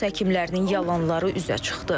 Rus həkimlərinin yalanları üzə çıxdı.